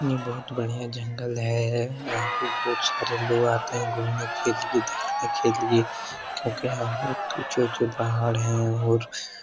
यह बहुत बढ़िया जंगल है यहाँ पे बहुत सारे लोग आते हैं घुमने के लिए देखने के लिए क्योंकि यहाँ ऊँचे-ऊँचे पहाड़ है और